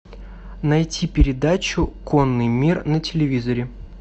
найти передачу конный мир на телевизоре